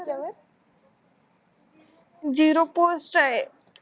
zero post आहे